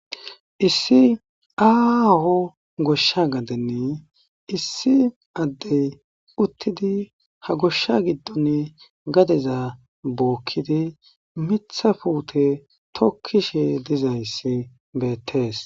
Issi aaho goshsha gadeni issi addee uththidi ha goshsha giddoni gadeza bookkidzi miththa puuthe thokkishe dizayssi beeththees.